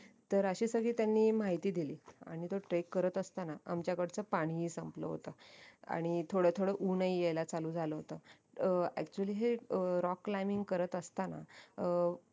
तर अशी सगळी त्यांनी माहिती दिली आणि तो trek करत असताना आमच्याकडचं पाणी ही संपलं होत आणि थोडं थोडं ऊन ही यायला चालू झालं होत actually rock climbing करत असताना अं